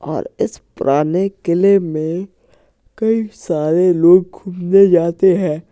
और इस पुराने किले में कई सारे लोग घूमने जाते हैं।